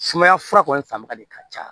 Sumaya fura kɔni fanba de ka ca